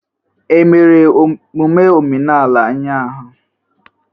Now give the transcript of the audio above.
E mere emume omenala ụnyahụ?